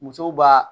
Musow b'a